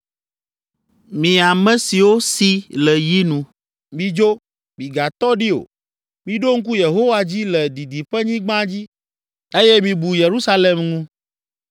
Mi ame siwo si le yi nu, midzo, migatɔ ɖi o! Miɖo ŋku Yehowa dzi le didiƒenyigba dzi eye mibu Yerusalem ŋu.”